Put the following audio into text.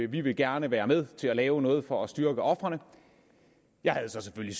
vi vil gerne være med til at lave noget for at styrke ofrene jeg havde så selvfølgelig